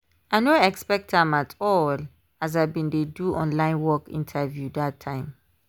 i no expect am at all as i been dey do online work interview that time.